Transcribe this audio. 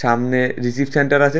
সামনে receive centre আসে।